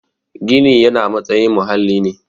Gini yana matsayin muhalli ne